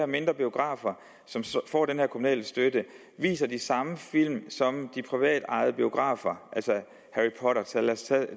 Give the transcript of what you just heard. mindre biografer som får den her kommunale støtte viser de samme film som de privatejede biografer lad os tage